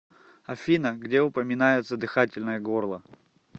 афина где упоминается дыхательное горло